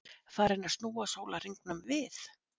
Farinn að snúa sólarhringnum við?